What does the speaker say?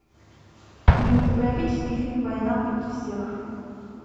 кинематографический фильм война против всех